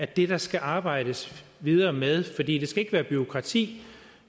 det der skal arbejdes videre med fordi det ikke skal være bureaukrati